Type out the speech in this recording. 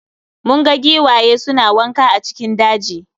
Mun ga giwaye suna wanka a cikin daji